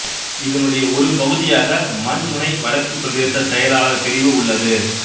இதனுடைய ஒரு பகுதியாக மண்முனை வடக்கு பிரதேச செயலாளர் பிரிவு உள்ளது